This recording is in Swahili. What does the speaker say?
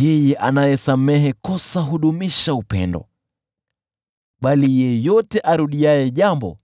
Yeye anayesamehe kosa hudumisha upendo, bali yeyote arudiaye jambo